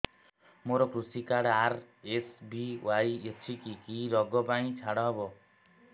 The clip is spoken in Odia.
ମୋର କୃଷି କାର୍ଡ ଆର୍.ଏସ୍.ବି.ୱାଇ ଅଛି କି କି ଋଗ ପାଇଁ ଛାଡ଼ ହବ